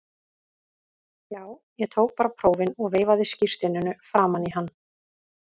Já, ég tók bara prófin og veifaði skírteininu framan í hann.